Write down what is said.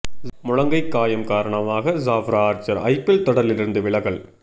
முழங்கை காயம் காரணமாக ஜாப்ரா ஆர்சர் ஐபிஎல் தொடரில் இருந்து விலகல்